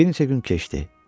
Bir neçə gün keçdi.